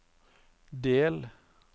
del